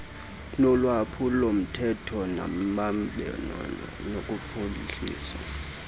nolwaphulomthetho nembambano nokuphuhlisa